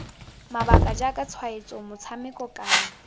mabaka jaaka tshwaetso motshameko kana